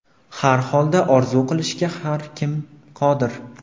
Har holda orzu qilishga har kim qodir.